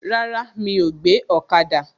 Rárá, mi ò gbé ọ̀kada